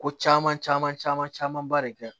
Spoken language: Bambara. Ko caman caman caman camanba de kɛ